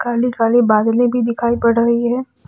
काली काली बादले भी दिखाई पड़ रही है।